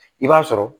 I b'a sɔrɔ